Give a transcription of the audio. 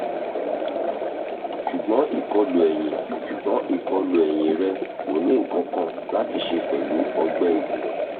ṣugbọn ikolu ẹhin ṣugbọn ikolu ẹhin rẹ ko ni nkankan lati ṣe pẹlu ọgbẹ ikùn